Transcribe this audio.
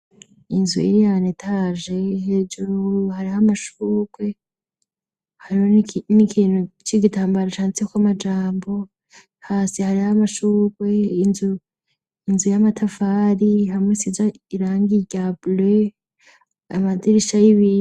Inzu ili yanetaje hejuru hari ho amashukwe hariho n'ikintu c'igitambaro cantiko amajambo hasi hari ho amashukwe inzu y'amatafari hamwe siza iranga igabule amadirisha y'ibirii.